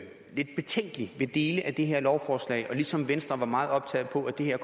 lidt betænkelig ved dele af det her lovforslag og ligesom venstre var meget opsat på at det her